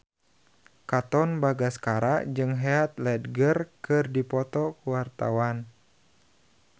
Katon Bagaskara jeung Heath Ledger keur dipoto ku wartawan